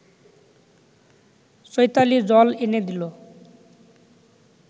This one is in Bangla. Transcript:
চৈতালি জল এনে দিল